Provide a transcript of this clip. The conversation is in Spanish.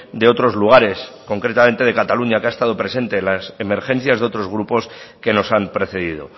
de otros lugares concretamente de cataluña que ha estado presente en las emergencias de otros grupos que nos han precedido